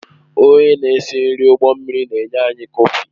Onye na-esi nri ụgbọ mmiri na-enye anyị kọfị